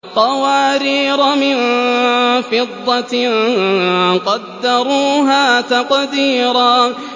قَوَارِيرَ مِن فِضَّةٍ قَدَّرُوهَا تَقْدِيرًا